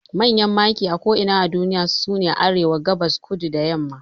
Manyan maki a ko'ina a duniya sune Arewa, Gabas, Kudu da yamma